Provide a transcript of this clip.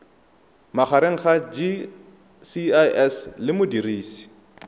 magareng ga gcis le modirisi